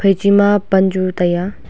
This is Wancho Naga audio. echi ma pan chu tai aa.